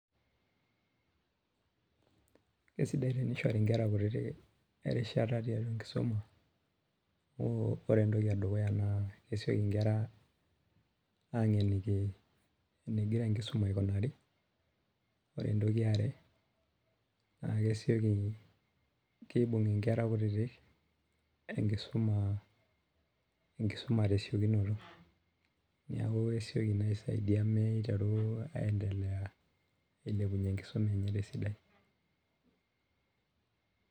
Kesidai tenishoribnkera kutiti erishata tiatua enkisuma ore entoki edukuya na kesieki nkera angeniki enegira enkisuma aikunari ore entoki eare na kesieki kibung nkera kutitik enkisuma tesiokinoto neaku nai aibung aendelea ailepunye enkisuma enye tesidai.